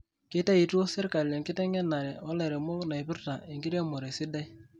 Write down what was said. Keitayito serkali enkitengena olairemok naipirta enkiremore sidai